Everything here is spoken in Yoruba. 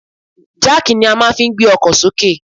Jáàkì ni a fi máa ń gbé ọkọ̀ sókè